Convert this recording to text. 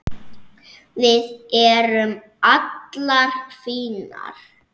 Við erum allar fínar